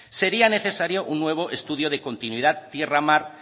sería necesario un nuevo estudio de continuidad tierra mar